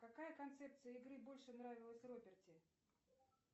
какая концепция игры больше нравилась роберти